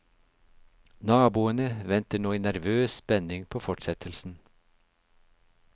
Naboene venter nå i nervøs spenning på fortsettelsen.